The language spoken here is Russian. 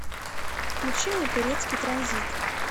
включи мне турецкий транзит